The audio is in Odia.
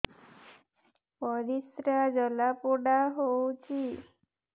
ପରିସ୍ରା ଜଳାପୋଡା ହଉଛି